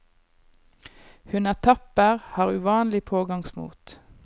Hun er tapper, har uvanlig pågangsmot.